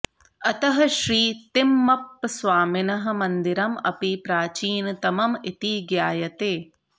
अतः श्री तिम्मप्पस्वामिनः मन्दिरम् अपि प्राचीनतमम् इति ज्ञायते